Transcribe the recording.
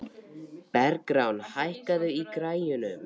Bergrán, hækkaðu í græjunum.